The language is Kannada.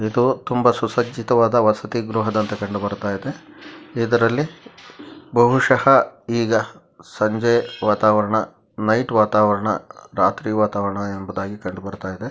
ಇದು ತುಂಬಾ ಸುಸಜ್ಜಿತವಾದ ವಸತಿ ಗೃಹದಂತೆ ಕಂಡುಬರುತ್ತಿದೆ ಇದರಲ್ಲಿ ಬಹುಶಃ ಈಗ ಸಂಜೆ ವಾತಾವರಣ ನೈಟ್ ವಾತಾವರಣ ರಾತ್ರಿ ವಾತಾವರಣ ಎಂಬುದಾಗಿ ಕಂಡುಬರುತ್ತಿದೆ .